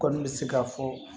Kɔni bɛ se ka fɔ